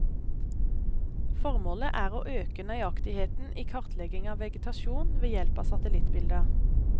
Formålet er å øke nøyaktigheten i kartlegging av vegetasjon ved hjelp av satellittbilder.